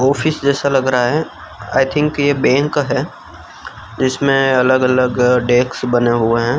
Office जैसा लग रहा है आई थिंक ये बैंक है इसमें अलग अलग डेस्क बने हुए हैं।